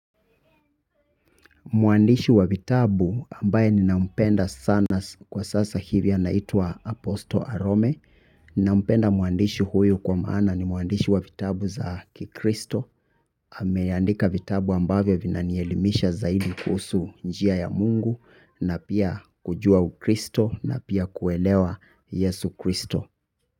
Mwandishi wa vitabu ambaye ninampenda sana kwa sasa hivi anaitwa aposto arome. Nampenda mwandishi huyu kwa maana ni mwandishi wa vitabu za kikristo. Ameandika vitabu ambavyo vinanielimisha zaidi kuhusu njia ya mungu na pia kujua ukristo na pia kuelewa yesu kristo.